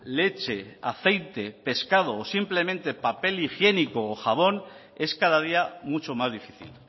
leche aceite pescado o simplemente papel higiénico o jabón es cada día mucho más difícil